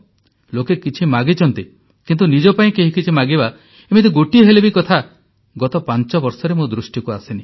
ଲୋକେ କିଛି ମାଗିଛନ୍ତି କିନ୍ତୁ ନିଜ ପାଇଁ କେହି କିଛି ମାଗିବା ଏମିତି ଗୋଟିଏ ହେଲେ ବି କଥା ଗତ ପାଂଚବର୍ଷରେ ମୋ ଦୃଷ୍ଟିକୁ ଆସିନି